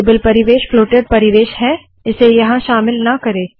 table परिवेश floated परिवेश है इसे यहाँ शामिल ना करे